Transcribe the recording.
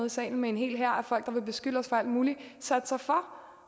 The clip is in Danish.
i salen med en hel hær af folk der vil beskylde os for alt muligt satte sig for